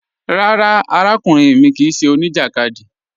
Rárá, àràkùnrìn mi kíì ṣẹ́ oníjakádì.